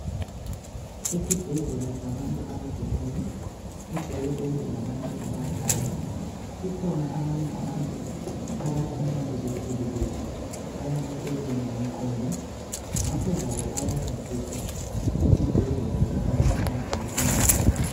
Esibhedlela sabantu abagulayo kugcwele konke labantu abadala kukhona abanye abantu abathi nxa sebekhulile bayalahlekelwa ngumqondo ngakho labo bayahanjiswa esibhedlela sabantu abagula ingqondo.